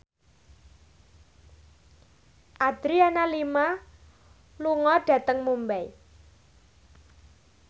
Adriana Lima lunga dhateng Mumbai